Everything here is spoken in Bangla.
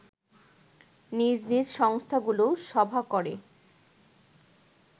নিজ নিজ সংস্থাগুলো সভা করে